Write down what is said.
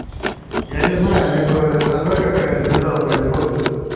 я не знаю либо со мной какая-то беда происходит